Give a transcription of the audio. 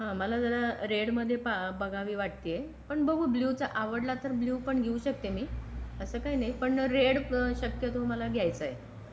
हा मला जरा रेड मध्ये बघावी वाटते पण बघू आवडला तर ब्ल्यू पण घेऊ शकते मी असं काही नाही पण रेड शक्यतो मला घ्यायचं आहे.